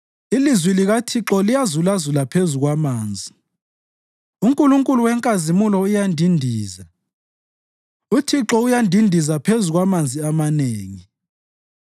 Ilizwi likaThixo liyazulazula phezu kwamanzi; uNkulunkulu wenkazimulo uyandindiza, uThixo uyandindiza phezu kwamanzi amanengi.